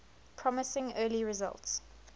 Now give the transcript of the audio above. promising early results